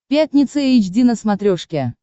пятница эйч ди на смотрешке